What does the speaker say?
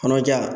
Kɔnɔja